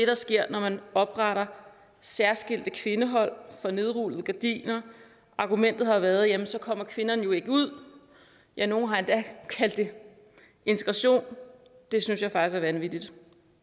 der sker når man opretter særskilte kvindehold for nedrullede gardiner argumentet har været at ellers kommer kvinderne jo ikke ud ja nogle har endda kaldt det integration det synes jeg faktisk er vanvittigt